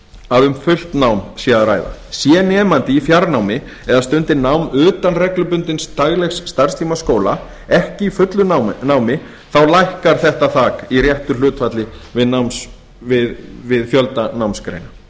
að um fullt nám sé að ræða sé nemandi í fjarnámi eða stundi nám utan reglubundins daglegs starfstíma skóla ekki í fullu námi þá lækkar þetta þak í réttu hlutfalli við fjölda námsgreina